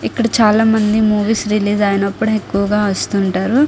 ఇక్కడ చాలామంది movies release అయినపుడు ఎక్కువుగా వస్తుంటారు.